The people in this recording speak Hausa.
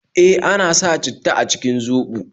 E, ana sa citta a cikin zoɓo